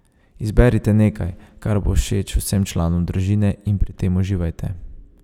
Izberite nekaj, kar bo všeč vsem članom družine, in pri tem uživajte.